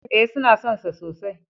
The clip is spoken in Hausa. E, suna son sa sosai.